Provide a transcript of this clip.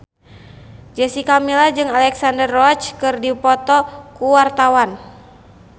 Jessica Milla jeung Alexandra Roach keur dipoto ku wartawan